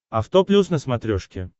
авто плюс на смотрешке